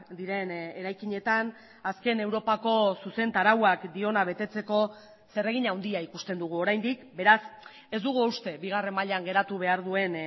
diren eraikinetan azken europako zuzentarauak diona betetzeko zeregin handia ikusten dugu oraindik beraz ez dugu uste bigarren mailan geratu behar duen